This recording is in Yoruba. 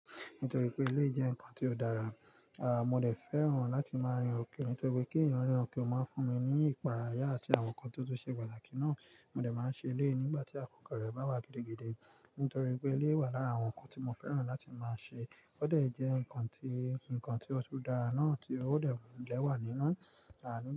Nítorí pé eleyii jẹ́ nǹkan tí ó dára, mo dè fẹ́ràn láti máa rìn òkè, nítorí pé kí eniyan rìn òkè máa fún mi ní ìpàráyà àti àwọn nǹkan ti ó tun ṣe pàtàkì náà. Mo lè máa ṣe ilé nígbà tí àkókò rẹ̀ bá wá gidigidi nítorí pé ilé wà lára àwọn nǹkan tí mo fẹ́ràn láti máa ṣe. Ó de jẹ́ nǹkan tí ó tún dára náà, tí ó lè wà nínú. Àni.